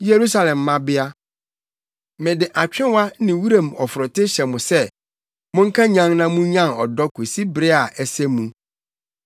Yerusalem mmabea, mede atwewa ne wuram ɔforote hyɛ mo sɛ: Monnkanyan na munnyan ɔdɔ kosi bere a ɛsɛ mu.